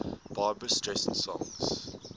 barbra streisand songs